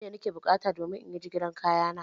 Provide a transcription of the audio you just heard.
Mai na ke buƙata domin inyi jigilar kaya na?